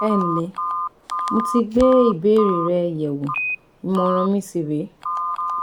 Ẹ ǹlẹ́, mo ti gbé ìbéèrè rẹ yẹ̀wò ìmọ̀ràn mi sì rè é